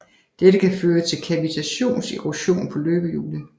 Dette kan føre til kavitationserosion på løbehjulet